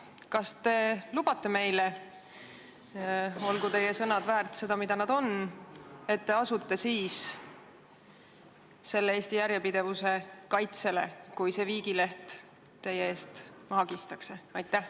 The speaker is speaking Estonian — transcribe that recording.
Kas te lubate meile – olgu teie sõnad väärt seda, mida nad on –, et te asute siis Eesti järjepidevuse kaitsele, kui see viigileht teie eest maha kistakse?